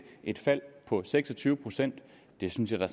et fald på seks og tyve procent det synes jeg da